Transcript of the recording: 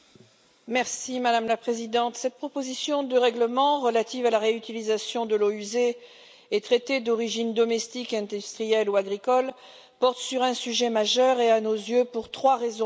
Madame la Présidente, cette proposition de règlement relative à la réutilisation des eaux usées et traitées, d'origine domestique, industrielle ou agricole, porte sur un sujet majeur et, à nos yeux, pour trois raisons principales.